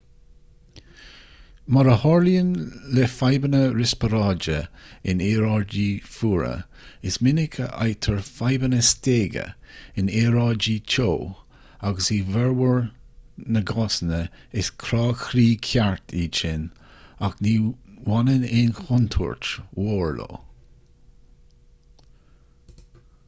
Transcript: mar a tharlaíonn le fadhbanna riospráide in aeráidí fuara is minic a fhaightear fadhbanna stéige in aeráidí teo agus i bhformhór na gcásanna is crá croí ceart iad sin ach ní bhaineann aon chontúirt mhór leo